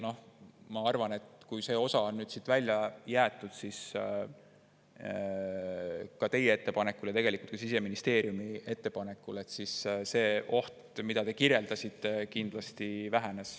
Ma arvan, et kui see osa on siit välja jäetud teie ettepanekul ja tegelikult ka Siseministeeriumi ettepanekul, siis see oht, mida te kirjeldasite, on kindlasti vähenenud.